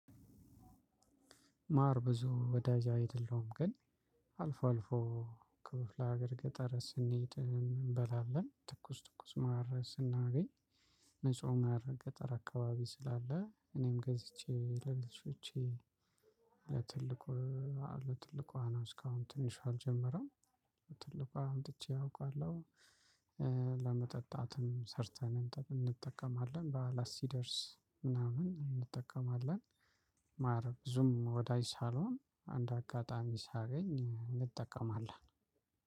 ማር ብዙ ወዳጅ አይደለሁም ግን አልፎ አልፎ ክፍለ አገር ገጠር ስንሄድ እንበላለን። ትኩስ ትኩስ ማር ስናገኝ። ንጹህ ማር ገጠር አካባቢ ስላለ እኔም ገዝቼ ለልጆቼ ለትልቁ አለው ትልቁ ነው እስከ አሁን ትንሹ አልጀመረም። ለትልቁ አምጥቼ አውቃለሁ። ለመጠጣትም ሰርተን እንጠቀማለን በዓላት ሲደርስ ምናምን እንጠቀማለን። ማር ብዙም ወዳጅ ሳልሆን አንደ አጋጣሚ ሳገኝ እንጠቀማለን።